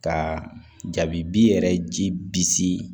Ka jabi bi yɛrɛ ji bisi